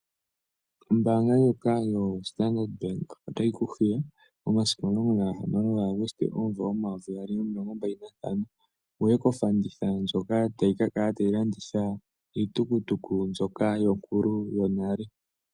Ombaanga ndjoka yoStandard Bank otayi ku hiya, omasiku 16 Aguste 2025 wuye kofanditha ndjoka tayi ka kala tayi landitha iitukutuku mbyoka yonkulu yonale.